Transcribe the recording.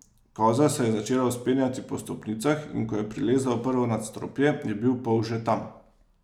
Koza se je začela vzpenjati po stopnicah, in ko je prilezla v prvo nadstropje, je bil polž že tam.